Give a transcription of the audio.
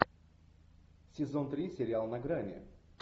сезон три сериал на грани